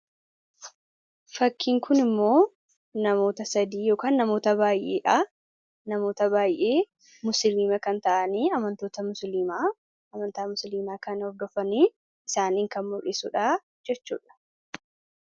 fakkiin kun immoo namoota 3 yookaan namoota baayeedha. Namoota baay'ee musiliima kan ta'anii amantoota musiliimaa amantaa musliimaa kan hordofanii isaaniin kan mul'isuudha jechuudha.